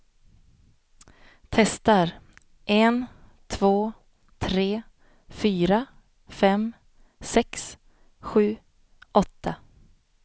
Testar en två tre fyra fem sex sju åtta.